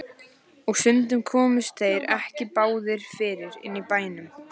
Og stundum komust þeir ekki báðir fyrir inni í bænum.